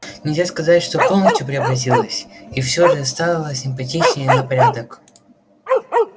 нельзя сказать что полностью преобразилась и всё же стала симпатичнее на порядок